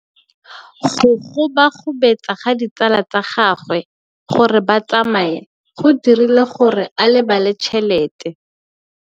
Go gobagobetsa ga ditsala tsa gagwe, gore ba tsamaye go dirile gore a lebale tšhelete.